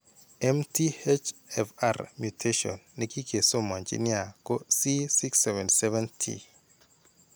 MTHFR mutation ne kikesomanji nia ko C677T.